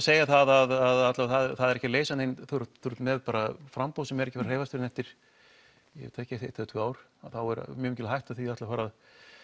segja það að það er ekki að leysa neitt því þú ert með framboð sem er ekki að hreyfast fyrr en eftir eitt til tvö ár þá er mjög mikil hætta á því að fara